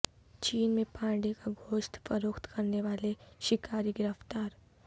چین میں پانڈے کا گوشت فروخت کرنے والے شکاری گرفتار